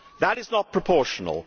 That is not proportional.